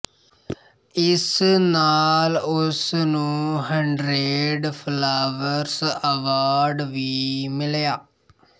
ਇਸ ਨਾਲ ਉਸਨੂੰ ਹੰਡਰੇਡ ਫਲਾਵਰਸ ਅਵਾਰਡ ਵੀ ਮਿਲਿਆ